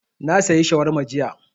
Na sayi shawarma jiya